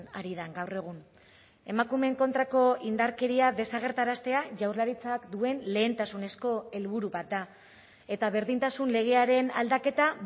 ari den gaur egun emakumeen kontrako indarkeria desagerraraztea jaurlaritzak duen lehentasunezko helburu bat da eta berdintasun legearen aldaketa